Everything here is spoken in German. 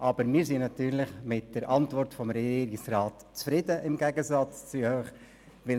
Aber wir sind natürlich im Gegensatz zur SVP mit der Antwort des Regierungsrats zufrieden.